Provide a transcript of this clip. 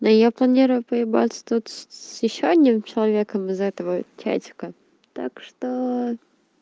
да я планирую поебаться тут с ещё одним человеком из этого чатика так что